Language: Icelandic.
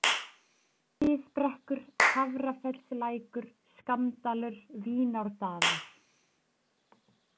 Miðbrekkur, Hafrafellslækur, Skammdalur, Vínárdalur